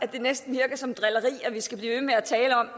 det næsten virker som drilleri at vi skal blive ved med at tale om